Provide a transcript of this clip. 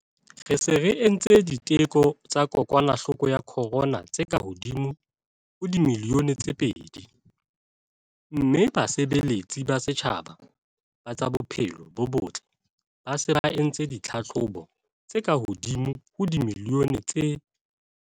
Re se re entse diteko tsa kokwanahloko ya corona tse kahodimo ho dimilione tse pedi mme basebeletsi ba setjhaba ba tsa bophelo bo botle ba se ba entse ditlhahlobo tse kahodimo ho dimilione tse